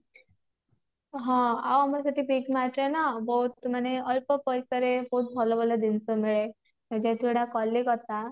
ହଁ ଆଉ ଆମର ସେଠି big mart ରେ ନା ବହୁତ ମାନେ ଅଳ୍ପ ପଇସା ରେ ଭଲ ଭଲ ଜିନିଷ ମିଳେ ଯେହେତୁ ଏଇଟା କଲିକତା